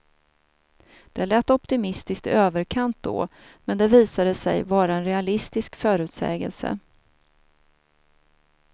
Det lät optimistiskt i överkant då, men det visade sig vara en realistisk förutsägelse.